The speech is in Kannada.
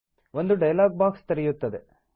ಒಂದು ಡಯಲಾಗ್ ಬಾಕ್ಸ್ ತೆರೆಯುತ್ತದೆ